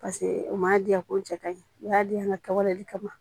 Paseke u m'a diya ko cɛ ka ɲi u y'a di yan n ka kɛwale kama